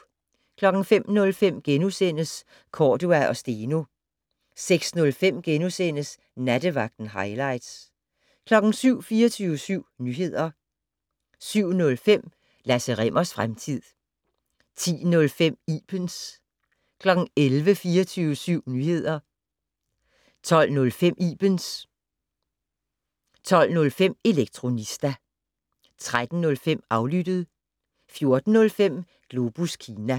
05:05: Cordua & Steno * 06:05: Nattevagten - hightlights * 07:00: 24syv Nyheder 07:05: Lasse Rimmers fremtid 10:05: Ibens 11:00: 24syv Nyheder 11:05: Ibens 12:05: Elektronista 13:05: Aflyttet 14:05: Globus Kina